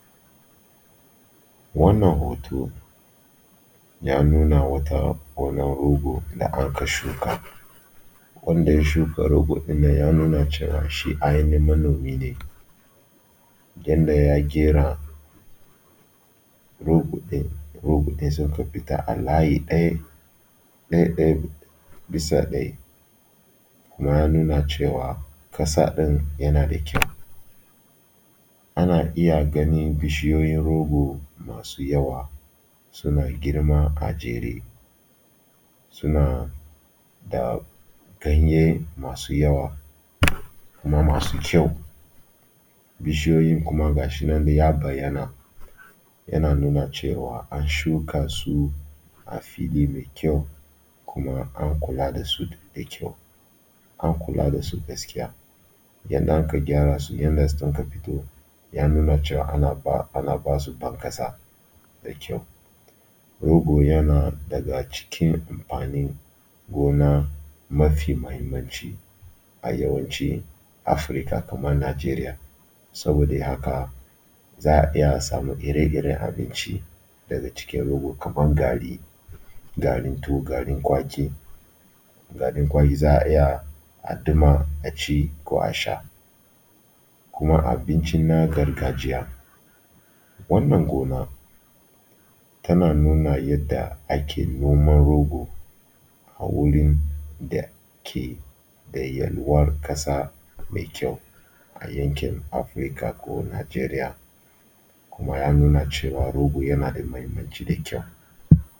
Wannan hoto ya nuna wata gonar rogo da anka shuka, wanda ya shuka rogo ɗin nan ya nuna cewa shi ainihin manomi ne yanda ya ƙera rogo ɗin, rogo ɗin sun ka fita a layi ɗai, ɗai-ɗai bias ɗai kuma ya nuna cewa ƙasa ɗin yana da kyau. Ana iya ganin bishiyoyin rogo masu yawa suna girma a jere suna da ganye masu yawa kuma masu kyau. Bishiyoyin kuma gashi nan ya bayyana yana nuna cewa an shuka su a fili mai kyau kuma an kula da su da kyau, an kula da su gaskiya, yanda aka gyara su yanda sun ka fito ya nuna cewa ana ba ana basu ban ƙasa da kyau. Rogo yana daga cikin amfanin gona mafi muhimmanci a yawancin Afirca kamar Najeriya saboda haka za a iya a samu ire-iren abinci daga cikin rogo kamar gari, garin tuwo, garin kwaki, za a ita a duma a ci ko a sha. Kuma abinci na gargajiya wannan gona tana nuna yadda ake noman rogo a wurin da ke da yalwar ƙasa da kyau a yanki Afirka ko Nijeriya kuma ya nuna cewa rogo yana da muhimmanci da kyau.